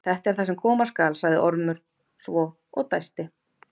Þetta er það sem koma skal, sagði Ormur svo og dæsti.